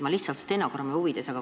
Ma lihtsalt stenogrammi huvides küsin.